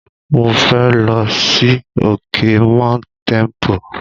Mo fẹ́ lọ sí òkè Mount Tempo.